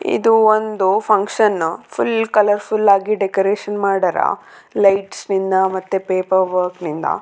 ಇದು ಒಂದು function full colour full ಆಗಿ ಡೆಕೊರೇಷನ್ ಮಾಡ್ಯಾರ್ ಲೈಟ್ಸ್ ನಿಂದ ಮತ್ತೆ ಪಪೆರ್ ವರ್ಕ ನಿಂದ.